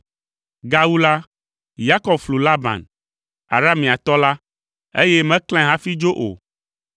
Gawu la, Yakob flu Laban, Arameatɔ la, eye meklãe hafi dzo o.